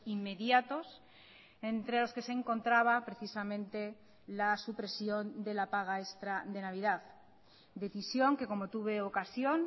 inmediatos entre los que se encontraba precisamente la supresión de la paga extra de navidad decisión que como tuve ocasión